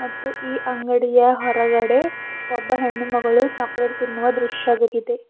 ಮತ್ತು ಈ ಅಂಗಡಿಯ ಹೊರಗಡೆ ಒಬ್ಬ ಹೆಣ್ಣು ಮಗಳು ಚಾಕಲೇಟ್ ತಿನ್ನುವ ದೃಶ್ಯವುಇದೆ.